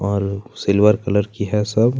और silver colour की है सब--